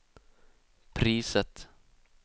priset